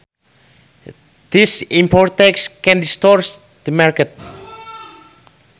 These import taxes can distort the market